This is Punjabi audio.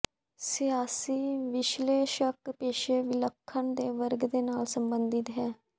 ਸਿਆਸੀ ਵਿਸ਼ਲੇਸ਼ਕ ਪੇਸ਼ੇ ਵਿਲੱਖਣ ਦੇ ਵਰਗ ਦੇ ਨਾਲ ਸਬੰਧਿਤ ਹੈ